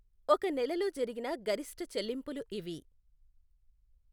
ఒక నెలలో జరిగిన గరిష్ఠచెల్లింపులు ఇవి.